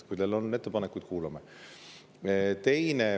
Kui teil on ettepanekuid, siis me kuulame.